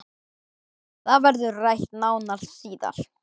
Það verður rætt nánar síðar